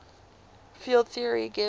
field theory gives